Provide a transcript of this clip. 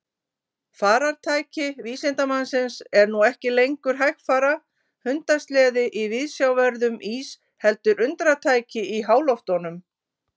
Farartæki vísindamannsins er nú ekki lengur hægfara hundasleði í viðsjárverðum ís heldur undratæki í háloftunum.